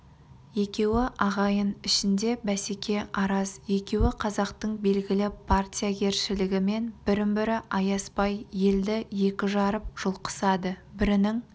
екеуі ағайын ішінде бәсеке араз екеуі қазақтың белгілі партиягершілігімен бірін-бірі аяспай елді екі жарып жұлқысады бірінің